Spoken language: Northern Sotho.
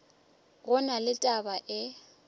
go na le taba e